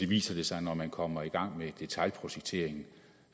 viser det sig når man kommer i gang med detailprojekteringen